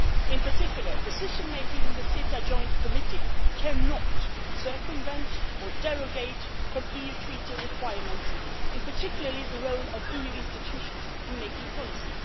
In particular, decision-making in the CETA joint committee cannot circumvent or derogate from EU Treaty requirements, particularly the role of the EU institutions in making policy.